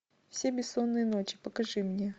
все бессонные ночи покажи мне